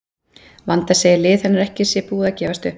Vanda segir að lið hennar sé ekki búið að gefast upp.